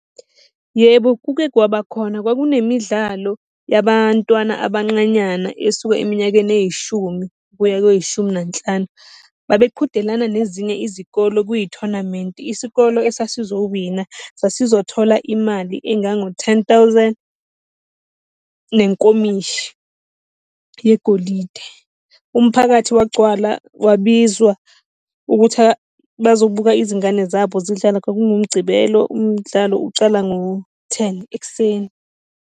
Yebo, kuke kwaba khona. Kwakunemidlalo yabantwana abanqanyana esuka eminyakeni eyishumi ukuya kweyishumi nanhlanu. Babeqhudelana nezinye izikolo kuyithonamenti. Isikole esasizowina sasizothola imali engango-ten thousand nenkomishi yegolide. Umphakathi wagcwala wabizwa ukuthi bazobuka izingane zabo zidlala, kwakunguMgcibelo umdlalo ucala ngo-ten ekuseni.